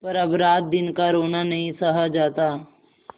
पर अब रातदिन का रोना नहीं सहा जाता